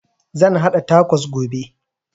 Zan haɗa takos gobe